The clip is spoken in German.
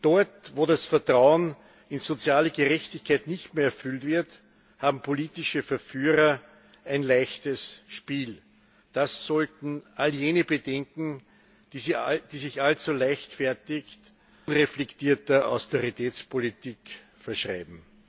Dort, wo das Vertrauen in soziale Gerechtigkeit nicht mehr erfüllt wird, haben politische Verführer ein leichtes Spiel. Das sollten all jene bedenken, die sich allzu leichtfertig unreflektierter Austeritätspolitik verschreiben.